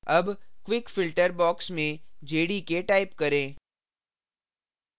अब quick filter box में jdk type करें